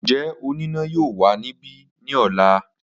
Njẹ onina yoo wa nibi ni ọla?